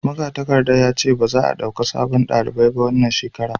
magatakarda ya ce ba za a dauka sabon dalibi a wannan shekara ba